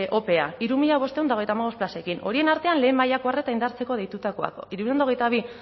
ope hiru mila bostehun eta hogeita hamabost plazekin horien artean lehen mailako arreta indartzeko deitutakoak hirurehun eta hogeita bi